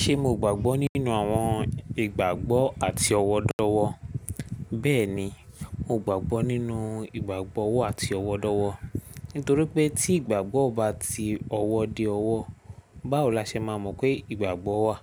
Ṣe mo gbàgbọ́ nínú àwọn ìgbàgbọ́ àti ọ̀wọ̀dọ̀wọ̀? Bẹ́ẹ̀ni, mo gbàgbọ́ nínú ìgbàgbọ́ ọ̀wọ́ àti ọ̀wọ̀dọ̀wọ̀. Nítorí pé tí ìgbàgbọ́ o bá ti ọwọ́ dé ọwọ́, báwo la ṣe máa mọ̀ pé ìgbàgbọ́ wà?